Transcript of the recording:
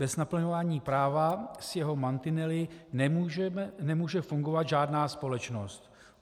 Bez naplňování práva s jeho mantinely nemůže fungovat žádná společnost.